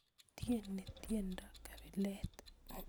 Tieni tiendo kabilet